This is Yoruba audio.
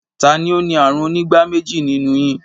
Ta ni ó ní ààrùn onígbáméjì nínú yin?